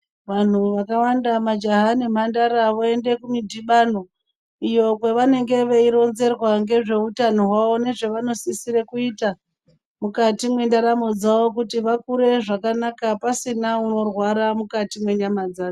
Vantu vakawanda majaha nemhandara voenda kumudhibano iyo kwevanenge veironzerwa ngezveutano hwavo nezvavanenge veisisira kuita mukati mwendaramo dzavo kuti vakure zvakanaka pasina unorwara mukati mwenyama dzake.